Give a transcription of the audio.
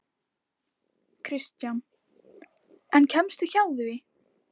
Kristján: En kemstu hjá því?